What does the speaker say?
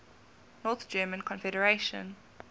north german confederation